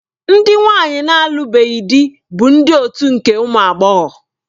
Ndị nwanyi na-alụbeghị di bụ ndị otu nke ụmụ agbọghọ.